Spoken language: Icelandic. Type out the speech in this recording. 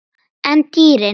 En dýrin?